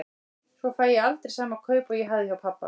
Svo fæ ég aldrei sama kaup og ég hafði hjá pabba.